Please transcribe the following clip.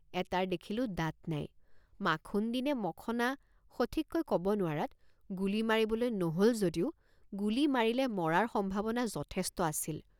এটাৰ দেখিলোঁ দাঁত নাই মাখুন্দী নে মখনা সঠিককৈ কব নোৱাৰাত গুলী মাৰিবলৈ নহল যদিও গুলী মাৰিলে মৰাৰ সম্ভাৱনা যথেষ্ট আছিল।